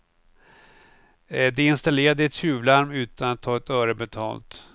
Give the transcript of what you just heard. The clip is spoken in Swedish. De installerade ett tjuvlarm utan att ta ett öre betalt.